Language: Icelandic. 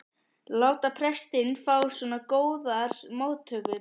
láta prestinn fá svona góðar móttökur.